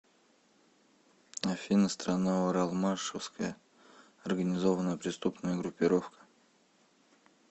афина страна уралмашевская организованная преступная группировка